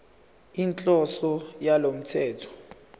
inhloso yalo mthetho